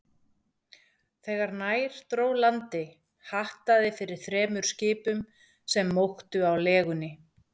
Þegar nær dró landi, hattaði fyrir þremur skipum, sem móktu á legunni.